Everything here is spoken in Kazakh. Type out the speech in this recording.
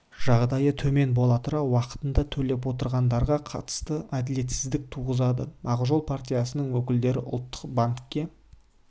жағдайы төмен бола тұра уақытында төлеп отырғандарға қатысты әділетсіздік туғызады ақжол партиясының өкілдері ұлттық банкке